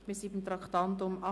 Wir kommen zum Traktandum 38: